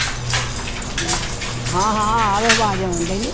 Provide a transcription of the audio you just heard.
ਹਾਂ ਹਾਂ ਆ ਰਹੀ ਆਵਾਜ਼ ਆਉਂਦੀ ਨੀ